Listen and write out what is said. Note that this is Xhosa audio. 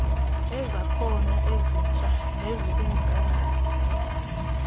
kwezakhono ezitsha nezikumgangatho